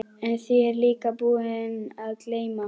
En því er ég líka búinn að gleyma.